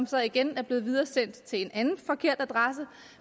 så igen blevet videresendt til en anden forkert adresse